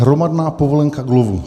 Hromadná povolenka k lovu!